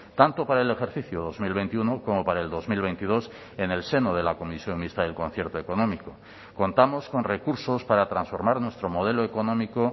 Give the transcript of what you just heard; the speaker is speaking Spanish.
tanto para el ejercicio dos mil veintiuno como para el dos mil veintidós en el seno de la comisión mixta del concierto económico contamos con recursos para transformar nuestro modelo económico